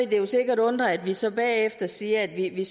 jo sikkert undre at vi så bagefter siger at vi ikke lige